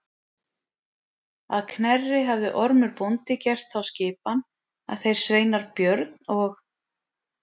Að Knerri hafði Ormur bóndi gert þá skipan að þeir sveinar Björn og